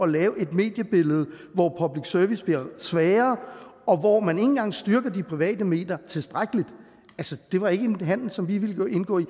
lave et mediebillede hvor public service bliver svagere og hvor man ikke engang styrker de private medier tilstrækkeligt det var ikke en handel som vi ville indgå i